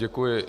Děkuji.